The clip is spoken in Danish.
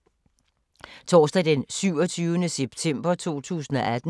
Torsdag d. 27. september 2018